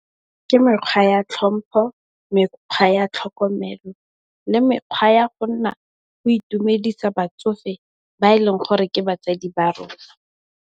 Ke mekgwa ya tlhompho, mekgwa ya tlhokomelo, le mekgwa ya go nna o itumedisa batsofe ba e leng gore ke batsadi ba rona.